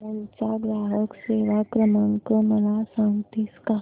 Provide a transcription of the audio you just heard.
अमूल चा ग्राहक सेवा क्रमांक मला सांगतेस का